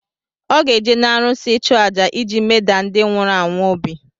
Ọ ga-eje n’arụsị ịchu àjà iji medaa ndị nwụrụ anwụ obi